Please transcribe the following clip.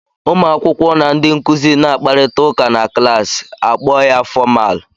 Ụmụ akwụkwọ na ndị nkụzi na akparịta ụka na klaasị a kpọọ ya fọmal.